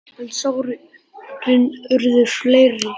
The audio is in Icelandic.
En sárin urðu fleiri.